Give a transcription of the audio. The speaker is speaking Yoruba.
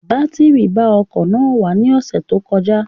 Batiri ba ọkọ̀ náà wà ní ọ̀sẹ̀ tó kọjá